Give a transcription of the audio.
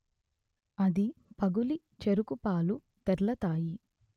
అది పగులి చెరుకు పాలు తెర్లతాయి